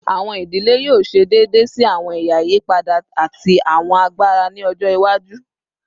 Awọn idile yoo ṣe deede si awọn ẹya iyipada ati awọn agbara ni ọjọ iwaju